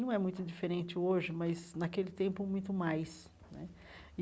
Não é muito diferente hoje, mas naquele tempo, muito mais né.